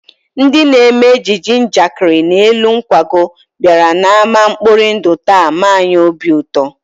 Ndị na-eme ejije njakịrị n'elu nkwago bịara n'ámá mkpori ndụ taa mee anyị obi ụtọ